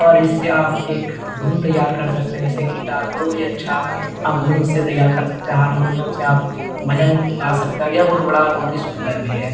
और इससे आप एक धुन तैयार कर सकते हैं। जैसे कि गिटार बहुत ही अच्छा आप धुन इससे तैयार कर सकते हैं। हारमोनियम से आप भजन गा सकते हैं और यह बहुत बड़ा और सुंदर भी है।